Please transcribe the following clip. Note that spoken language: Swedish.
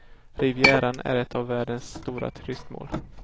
Rivieran är ett av världens stora turistmål.